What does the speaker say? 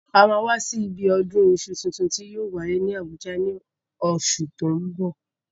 A máa wá sí ibi ọdún iṣu tuntun tí yóò wáyé ní Àbújá ní oṣù tó ń bọ̀.